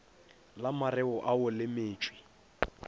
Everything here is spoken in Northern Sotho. la mareo ao le metšwe